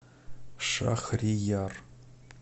шахрияр